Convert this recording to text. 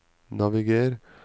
naviger